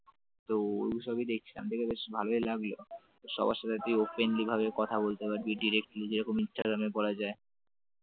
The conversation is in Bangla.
তো ওই সবই দেখছিলাম দেখে বেশ ভালই লাগলো সবার সাথে তুই openly কথা বলতে পারবি directly যেরকম ইন্সট্রাগ্রাম এ করা যায় ।